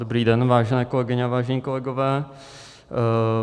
Dobrý den, vážené kolegyně a vážení kolegové.